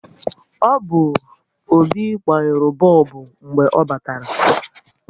Ọ bụ Obi gbanyuru bọlbụ mgbe ọ batara